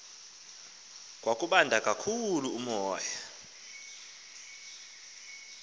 kwakubanda kakhulu umoya